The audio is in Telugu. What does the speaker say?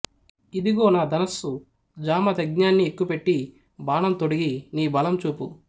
ఇదిగో నా ధనుస్సు జామదగ్న్యాన్ని ఎక్కుపెట్టి బాణం తొడిగి నీ బలం చూపు